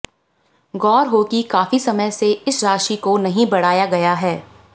गौर हो कि काफी समय से इस राशि को नहीं बढ़ाया गया है